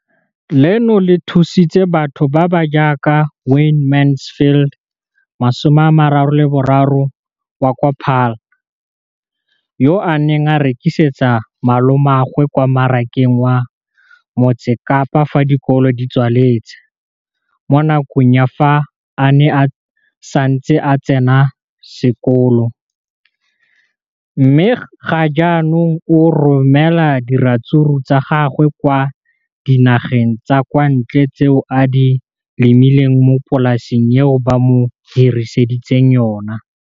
Leno le thusitse batho ba ba jaaka Wayne Mansfield, 33, wa kwa Paarl, yo a neng a rekisetsa malomagwe kwa Marakeng wa Motsekapa fa dikolo di tswaletse, mo nakong ya fa a ne a santse a tsena sekolo, mme ga jaanong o romela diratsuru tsa gagwe kwa dinageng tsa kwa ntle tseo a di lemileng mo polaseng eo ba mo hiriseditseng yona.